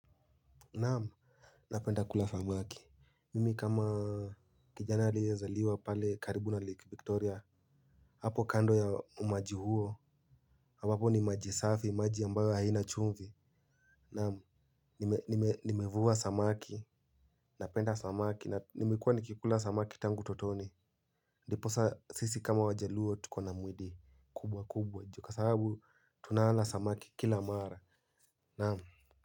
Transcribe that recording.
Naamu, napenda kula samaki, mimi kama kijana aliye zaliwa pale karibu na Lake Victoria. Hapo kando ya umaji huo, ambapo ni maji safi, maji ambayo haina chumvi. Naamu, nimevua samaki, napenda samaki, nimekuwa nikikula samaki tangu utotoni. Ndiposa sisi kama wajaluo tukona mwili, kubwa kubwa, ju kwa sababu tunawala samaki kila mara, naamu.